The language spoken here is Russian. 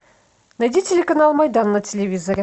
найди телеканал майдан на телевизоре